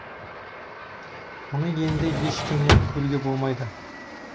мұны енді ешкімнен көруге болмайды